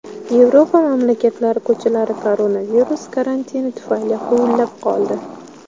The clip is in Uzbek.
Yevropa mamlakatlari ko‘chalari koronavirus karantini tufayli huvullab qoldi.